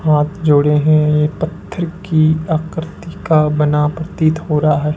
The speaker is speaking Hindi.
हाथ जोड़े हैं ये पत्थर की आकृति का बना प्रतीत हो रहा है।